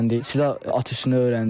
Silah atışı öyrəndik.